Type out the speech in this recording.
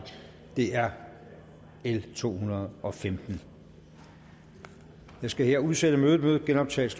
er l to hundrede og femten jeg skal her udsætte mødet mødet genoptages